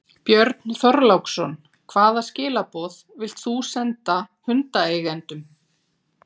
Björn Þorláksson: Hvaða skilaboð vilt þú senda hundaeigendum?